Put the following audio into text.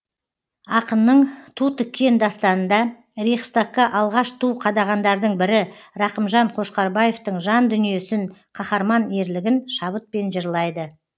ақынның ту тіккен дастанында рейхстагқа алғаш ту қадағандардың бірі рақымжан қошқарбаевтың жан дүниесін қаһарман ерлігін шабытпен жырлайды